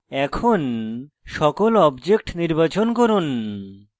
এখন সকল objects নির্বাচন করুন